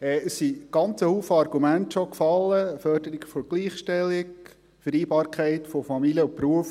Es sind schon ganz viele Argumente gefallen: Förderung der Gleichstellung, Vereinbarkeit von Familie und Beruf.